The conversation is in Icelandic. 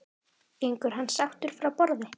Gengur hann sáttur frá borði?